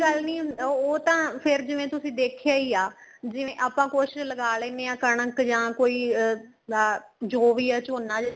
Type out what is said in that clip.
ਕੋਈ ਗੱਲ ਨਹੀਂ ਉਹ ਤਾਂ ਫ਼ੇਰ ਜਿਵੇਂ ਤੁਸੀਂ ਦੇਖਿਆ ਹੀ ਆ ਜਿਵੇਂ ਆਪਾਂ ਕੁੱਛ ਲਗਾ ਲੈਣੇ ਆ ਕਣਕ ਜਾ ਕੋਈ ਅਹ ਜੋ ਵੀ ਆ ਝੋਨਾ